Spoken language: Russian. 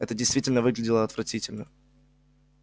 это действительно выглядело отвратительно